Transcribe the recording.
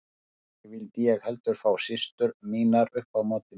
Ekki vildi ég heldur fá systur mínar upp á móti mér.